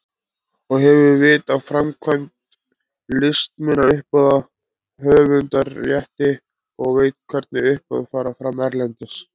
Og hefur vit á framkvæmd listmunauppboða, höfundarrétti og veit hvernig uppboð fara fram erlendis.